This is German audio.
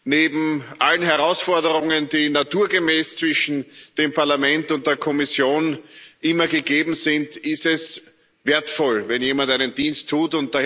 Neben allen Herausforderungen, die naturgemäß zwischen dem Parlament und der Kommission immer gegeben sind, ist es wertvoll, wenn jemand einen Dienst tut.